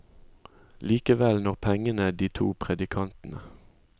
Likevel når pengene de to predikantene.